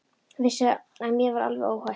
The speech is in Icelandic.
Vissi að mér var alveg óhætt.